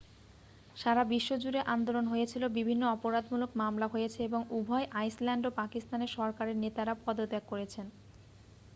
সারা বিশ্ব জুড়ে আন্দোলন হয়েছিল বিভিন্ন অপরাধমূলক মামলা হয়েছে এবং উভয় আইসল্যান্ড ও পাকিস্তানের সরকারের নেতারা পদত্যাগ করেছেন